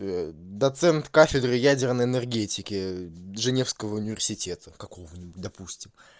доцент кафедры ядерной энергетики женевского университета какого ни будь допустим